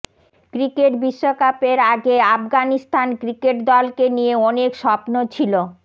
cricket বিশ্বকাপের আগে Afghanistan cricket দলকে নিয়ে অনেক স্বপ্ন ছিল